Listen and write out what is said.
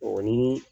O ni